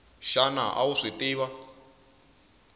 xana a wu swi tiva